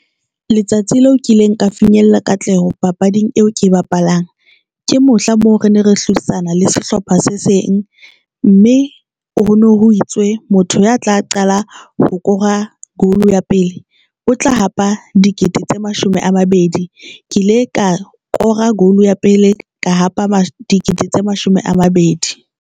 Letsatsi leo kileng ka finyella katleho papading eo ke bapalang. Ke mohla moo re ne re hlodisana le sehlopha se seng, mme o hono ho itswe. Motho ya tla qala ho kora goal ya pele o tla hapa dikete tse mashome a mabedi ke ile ka kora goal ya pele ka hapa dikete tse mashome a mabedi.